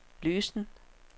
løsen